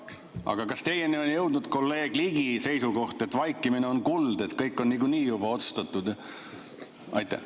Aga kas teieni on jõudnud kolleeg Ligi seisukoht, et vaikimine on kuld, et kõik on niikuinii juba otsustatud?